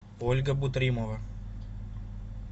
ольга бутримова